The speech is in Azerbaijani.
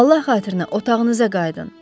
Allah xatirinə, otağınıza qayıdın.